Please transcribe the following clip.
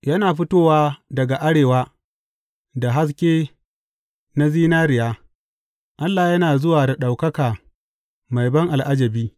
Yana fitowa daga arewa da haske na zinariya, Allah yana zuwa da ɗaukaka mai ban al’ajabi.